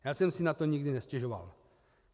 Já jsem si na to nikdy nestěžoval.